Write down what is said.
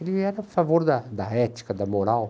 Ele era a favor da da ética, da moral.